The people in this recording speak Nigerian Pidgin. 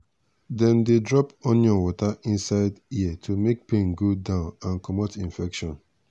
dem dey drop onion water inside ear to make pain go down and comot infection.